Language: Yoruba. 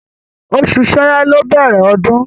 Oṣù ṣẹ́rẹ́ ló ń bẹ̀rẹ̀ ọdún.